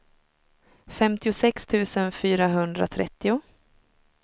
femtiosex tusen fyrahundratrettio